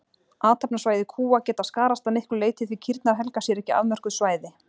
Athafnasvæði kúa geta skarast að miklu leyti því kýrnar helga sér ekki afmörkuð svæði.